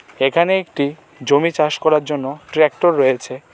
এখানে একটি জমি চাষ করার জন্য ট্রাক্টর রয়েছে।